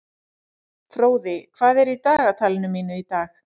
Fróði, hvað er í dagatalinu mínu í dag?